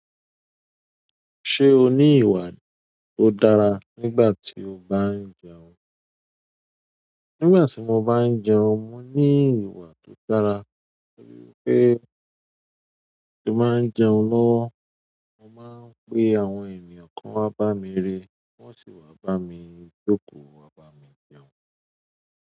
Ṣé o ní ìwà tó dára nígbà tí o bá ń jẹun? Nígbà tí mo bá ń jẹun, mo ní ìwà tó dára. Mo ríi pé kí èmi máa ń jẹun ló, mo máa ń pe àwọn ènìyàn kan wá bá mi re, wọ́n sì wá bá mi jókòó, wá bá mi jẹun.